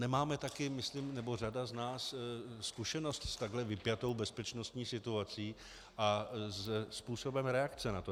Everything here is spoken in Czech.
Nemáme také myslím, nebo řada z nás, zkušenost s takhle vypjatou bezpečnostní situací a se způsobem reakce na to.